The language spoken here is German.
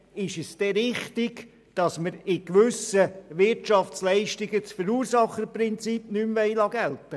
Ist es denn richtig, dass wir bei gewissen Wirtschaftsleistungen das Verursacherprinzip nicht mehr gelten lassen wollen?